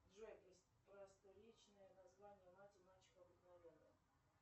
джой просторечное название мать и мачеха обыкновенная